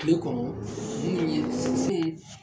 Kile kɔnɔ minnu ye n